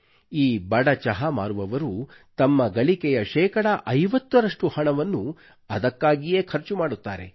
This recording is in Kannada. ಈ ಬಡ ಚಹಾ ಮಾರುವವರು ತಮ್ಮ ಗಳಿಕೆಯ ಶೇಕಡಾ 50 ರಷ್ಟು ಹಣವನ್ನು ಅದಕ್ಕಾಗಿಯೇ ಖರ್ಚು ಮಾಡುತ್ತಾರೆ